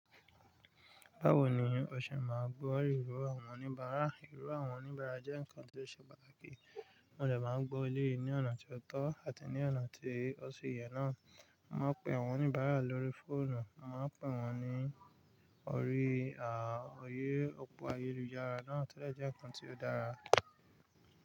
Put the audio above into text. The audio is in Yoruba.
Báwo ni o ṣe máa gbọ́ ìró àwọn oníbàárà? Ìró àwọn oníbàárà jẹ́ ǹkan tó ṣe pàtàkì. Wọn dẹ̀ máa gbọ́ ilé yìí ní ọ̀nà tí ó tọ́ àti ní ọ̀nà tí ó ṣi yẹ náà. A máa pè àwọn oníbàárà lórí fóònù, a máa pè wọ́n ní orí òri òpó ayélujára náà tí ó jẹ́ ǹnkan tí ó dára.